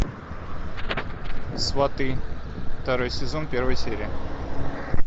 сваты второй сезон первая серия